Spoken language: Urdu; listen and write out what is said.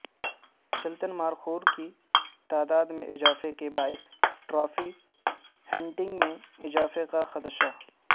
چلتن مارخور کی تعداد میں اضافے کے باعث ٹرافی ہنٹنگ میں اضافے کا خدشہ